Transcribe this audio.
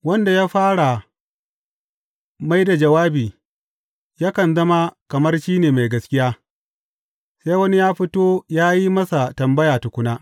Wanda ya fara mai da jawabi yakan zama kamar shi ne mai gaskiya, sai wani ya fito ya yi masa tambaya tukuna.